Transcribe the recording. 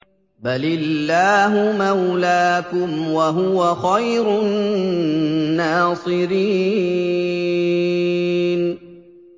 بَلِ اللَّهُ مَوْلَاكُمْ ۖ وَهُوَ خَيْرُ النَّاصِرِينَ